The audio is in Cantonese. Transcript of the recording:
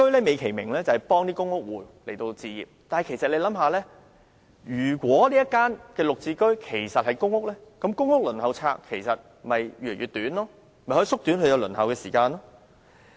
美其名，"綠置居"旨在協助公屋戶置業，但大家試想想，假如"綠置居"單位是公屋，公屋輪候冊便可以越來越短，可以縮短輪候時間。